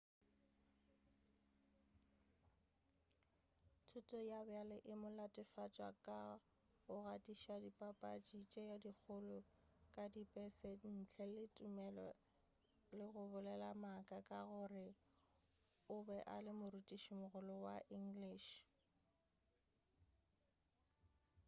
thuto ya bjale e mo latofatša ka go gatiša dipapatši tše dikgolo ka dipese ntle le tumelelo le go bolela maaka ka gore o be a le morutišimogolo wa english